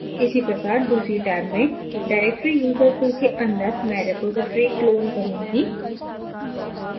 इसी प्रकार दूसरी टैब में directory user2 के अंदर मैं रिपॉज़िटरी clone करुँगी